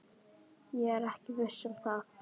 Ég er ekki viss um það.